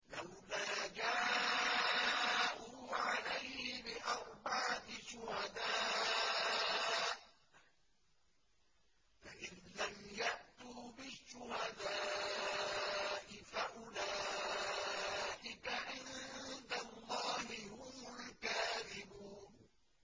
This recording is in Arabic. لَّوْلَا جَاءُوا عَلَيْهِ بِأَرْبَعَةِ شُهَدَاءَ ۚ فَإِذْ لَمْ يَأْتُوا بِالشُّهَدَاءِ فَأُولَٰئِكَ عِندَ اللَّهِ هُمُ الْكَاذِبُونَ